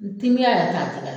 Ntigɛ yɛrɛ t'a tɛgɛ l